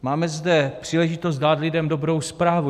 Máme zde příležitost dát lidem dobrou zprávu.